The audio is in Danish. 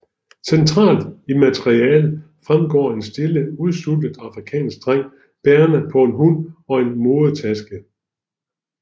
Centralt i maleriet fremstår en lille udsultet afrikansk dreng bærende på en hund og en modetaske